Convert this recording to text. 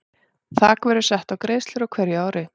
Þak verður sett á greiðslur á hverju ári.